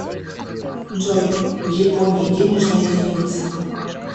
джой в японии денежная единица